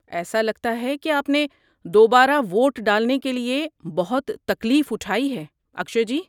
ایسا لگتا ہے کہ آپ نے دوبارہ ووٹ ڈالنے کے لیے بہت تکلیف اٹھائی ہے، اکشئے جی۔